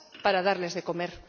patatas para darle de